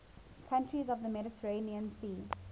countries of the mediterranean sea